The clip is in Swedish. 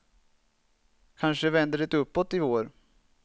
Kanske vänder det uppåt i vår.